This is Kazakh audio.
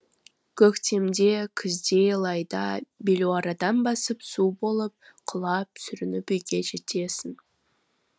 көктемде күзде лайда белуарадан басып су болып құлап сүрініп үйге жетесің